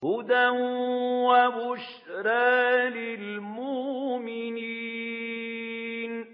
هُدًى وَبُشْرَىٰ لِلْمُؤْمِنِينَ